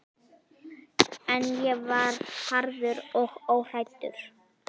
En ég var harður og óhræddur.